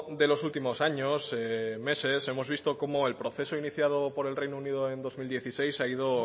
de los últimos años meses hemos visto como el proceso iniciado por el reino unido en dos mil dieciséis ha ido